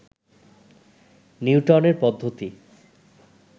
নিউটনের পদ্ধতি